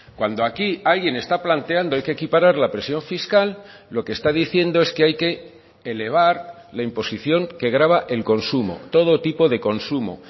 cuando aquí alguien está planteando hay que equiparar la presión fiscal lo que está diciendo es que hay que elevar la imposición que grava el consumo todo tipo de consumo